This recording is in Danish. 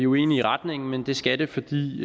uenige i retningen men det skal det fordi